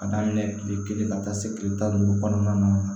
Ka daminɛ kile kelen ka taa se kile tan ni duuru kɔnɔna ma